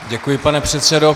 Děkuji, pane předsedo.